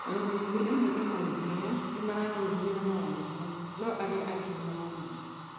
Arũgamĩrĩri amwe a maũndũ maya nĩmararũmĩrĩra mawatho maya no arĩa angĩ nĩ maramauna.